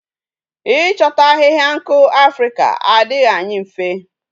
I chota ahihia nku Africa adighi anyi mfe